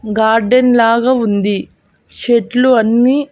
Garden లాగా ఉంది చెట్లు అన్ని.